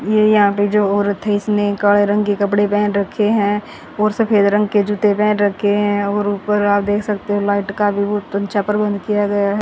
ये यहां पे जो औरत इसने काणे रंग कपड़े पहन रखे हैं और सफेद रंग के जूते पेहन रखे हैं और ऊपर आप देख सकते हो लाइट का भी बहुत अच्छा प्रबंध किया गया है।